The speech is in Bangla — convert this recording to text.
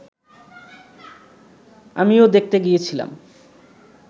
আমিও দেখতে গিয়েছিলাম